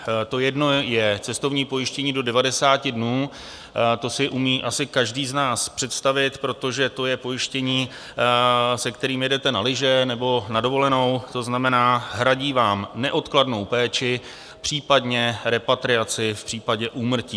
To jedno je cestovní pojištění do 90 dnů, to si umí asi každý z nás představit, protože to je pojištění, se kterými jedete na lyže nebo na dovolenou, to znamená, hradí vám neodkladnou péči, případně repatriaci v případě úmrtí.